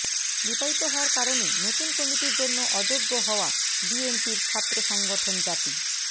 বিবাহিত হওয়ার কারণে নতুন কমিটির জন্য অযোগ্য হওয়া বিএনপির ছাত্র সংগঠন জাতী